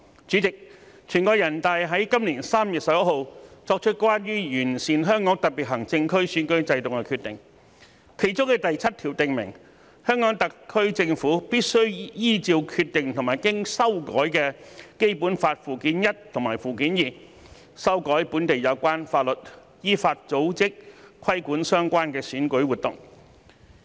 主席，全國人大於今年3月11日作出關於完善香港特別行政區選舉制度的決定，當中的第七條訂明，香港特區政府必須依照《決定》和經修改的《基本法》附件一及附件二，修改本地有關法律，依法組織、規管相關選舉活動。